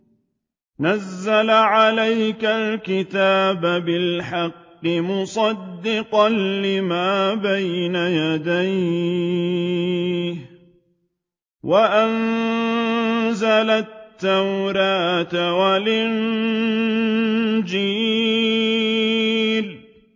نَزَّلَ عَلَيْكَ الْكِتَابَ بِالْحَقِّ مُصَدِّقًا لِّمَا بَيْنَ يَدَيْهِ وَأَنزَلَ التَّوْرَاةَ وَالْإِنجِيلَ